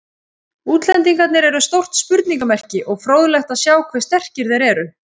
Útlendingarnir eru stórt spurningamerki og fróðlegt að sjá hve sterkir þeir eru.